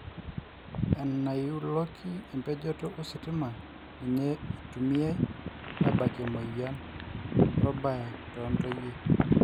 enaiuloki embejoto ositima ninye eitumiai abakie emoyian orbae too ntoyie